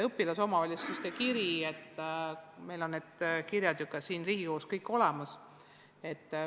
Õpilasomavalitsuste kirju on huvitav jälgida, meil on need kirjad ka siin Riigikogus olemas.